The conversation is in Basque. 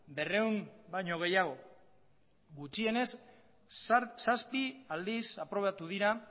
berrehun baino gehiago gutxienez zazpi aldiz aprobatu dira